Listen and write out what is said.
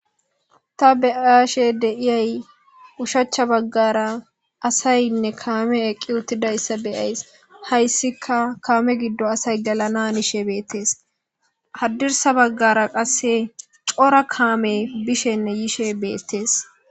ta beayshe deiyay ushachcha baggara asaynne kaame eqqi uttida issa beyays hayssika kaame giddo asay galananishe beettees haddirsa baggara qasse cora kaame bishenne yiishe beettees